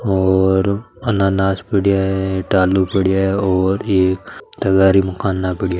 और अनानास पड़ा है आलू पड़ा है और एक तगारी मुकाना पड़ा है।